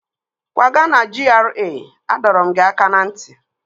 Kwaga na GRA! Adọrọ m gị aka na nti